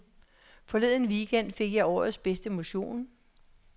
Forleden weekend fik jeg årets bedste motion.